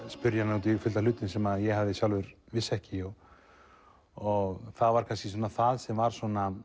spyrja hann út í fullt af hlutum sem ég sjálfur vissi ekki og það var kannski það sem var